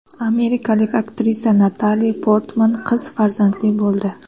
Amerikalik aktrisa Natali Portman qiz farzandli bo‘ldi.